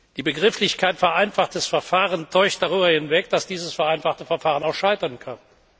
Die Begrifflichkeit vereinfachtes Verfahren täuscht darüber hinweg, dass dieses vereinfachte Verfahren auch scheitern kann.